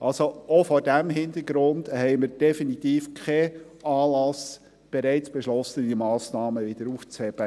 Auch vor diesem Hintergrund haben wir definitiv keinen Anlass, bereits beschlossene Massnahmen wieder aufzuheben.